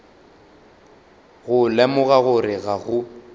go lemoga gore ga go